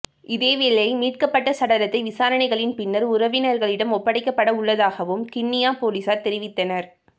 இதேவேளை மீட்கப்பட்ட சடலத்தை விசாரணைகளின் பின்னர் உறவினர்களிடம் ஒப்படைக்கப்பட உள்ளதாகவும் கிண்ணியா பொலிஸார் தெரிவித்தனர்